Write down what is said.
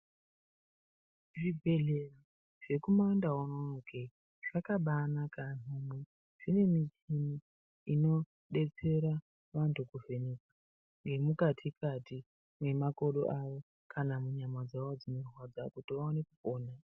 Zvibhedhleya zvekumandau unono ke zvakabanaka zvine michini inodetsera vantu kuvheneka zvemukati kati nemakodo avo kana munyama dzavo dzinorwadza kuti vaone kupona.